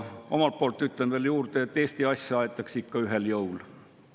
Omalt poolt ütlen veel juurde, et Eesti asja aetakse ikka ühisel jõul.